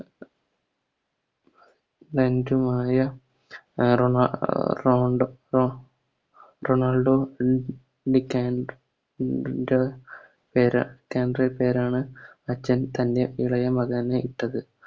ഉമായ അഹ് റോണാ അഹ് റൌണ്ട് റൊണാൾഡോ പേരാണ് അച്ഛൻ തൻറെ ഇളയ മകന് ഇട്ടത്